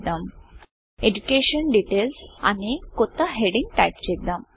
education DETAILSఎజుకేషన్ details అనే కొత్త headingహెడ్డింగ్ టైపు చేద్దాం